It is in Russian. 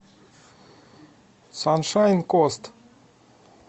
саншайн кост